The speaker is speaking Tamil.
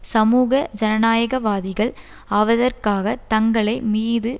சமூக ஜனநாயகவாதிகள் ஆவதற்காக தங்களை மீது